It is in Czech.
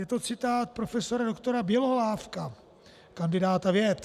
Je to citát profesora doktora Bělohlávka, kandidáta věd.